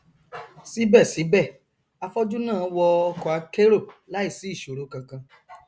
síbẹsíbẹ afọjú náà wọ ọkọ akérò láìsí ìṣòro kankan